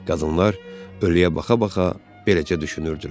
Qadınlar ölüyə baxa-baxa beləcə düşünürdülər.